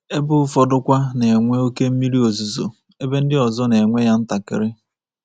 Ebe ụfọdụkwa na-enwe oke mmiri ozuzo, ebe ndị ọzọ na-enwe ya ntakịrị.